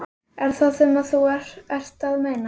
Er það það sem þú ert að meina?